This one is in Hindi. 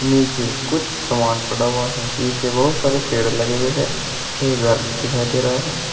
नीचे कुछ सामान पड़ा हुआ है पीछे बहुत सारे पेड़ लगे हुए हैं एक घर दिखाई दे रहा है।